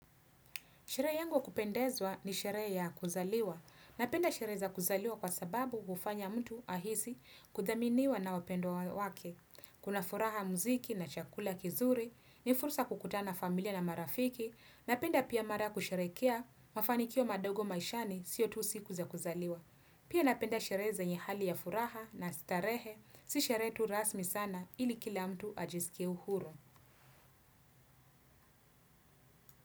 Sherehe yangu ya kupendezwa ni sherehe ya kuzaliwa. Napenda shere za kuzaliwa kwa sababu hufanya mtu ahisi kudhaminiwa na wapendwa wake. Kuna furaha muziki na chakula kizuri, ni fursa ya kukutana familia na marafiki, napenda pia mara kusherekea mafanikio madogo maishani sio tu siku za kuzaliwa. Pia napenda shere zenye hali ya furaha na starehe si shere tu rasmi sana ili kila mtu ajisikie uhuru.